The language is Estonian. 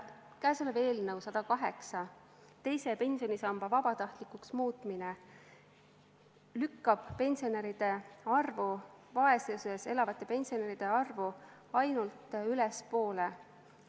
Käesolev eelnõu 108, teise pensionisamba vabatahtlikuks muutmine, lükkab vaesuses elavate pensionäride arvu ainult ülespoole.